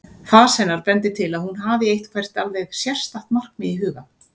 Fas hennar bendir til að hún hafi eitthvert alveg sérstakt markmið í huga.